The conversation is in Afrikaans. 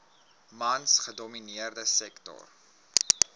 mans gedomineerde sektor